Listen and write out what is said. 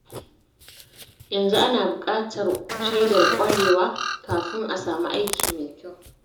Yanzu, ana buƙatar shaidar ƙwarewa kafin a samu aiki mai kyau.